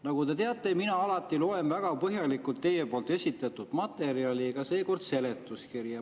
Nagu te teate, mina alati loen väga põhjalikult teie esitatud materjali, ka seekord lugesin seletuskirja.